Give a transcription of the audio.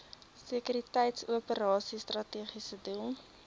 sekuriteitsoperasies strategiese doel